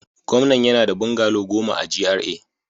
Gwamnan yana da bungalow goma a GRA